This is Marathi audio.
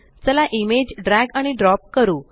चला इमेज ड्रॅग आणि ड्रॉप करू